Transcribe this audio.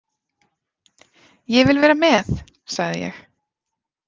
Ég vil vera með, sagði ég.